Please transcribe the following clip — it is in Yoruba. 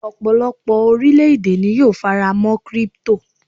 ọpọlọpọ orilẹ ède ni yíò farama' crypto